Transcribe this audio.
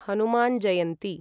Hanuman Jayanti